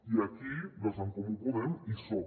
i aquí des d’en comú podem hi som